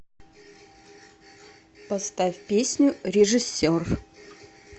поставь песню режиссер